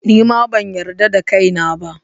Ni ma ban yarda da kaina ba.